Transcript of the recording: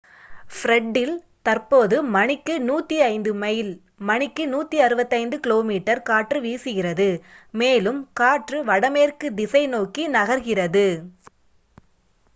ஃப்ரெட்டில் தற்போது மணிக்கு 105 மைல் மணிக்கு 165 கிமீ காற்று வீசுகிறது மேலும் காற்று வடமேற்கு திசை நோக்கி நகர்கிறது